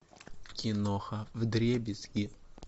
киноха вдребезги